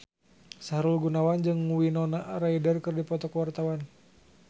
Sahrul Gunawan jeung Winona Ryder keur dipoto ku wartawan